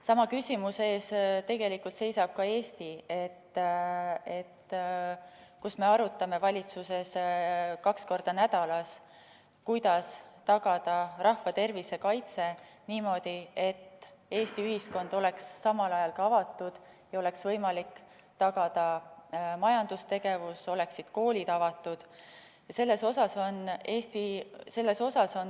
Sama küsimuse ees tegelikult seisab ka Eesti, kus me arutame valitsuses kaks korda nädalas, kuidas tagada rahva tervise kaitse niimoodi, et Eesti ühiskond oleks samal ajal avatud, oleks võimalik tagada majandustegevus ja koolid oleksid avatud.